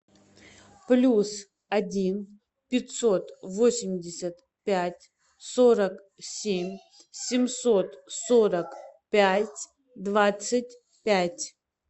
плюс один пятьсот восемьдесят пять сорок семь семьсот сорок пять двадцать пять